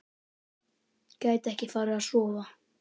Gæti ekki farið að sofa.